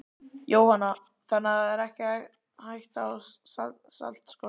Jóhanna: Þannig það er ekki hætta á saltskorti?